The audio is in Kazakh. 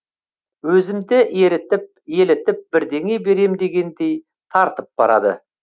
өзімді ерітіп елітіп бірдеңе берем дегендей тартып барады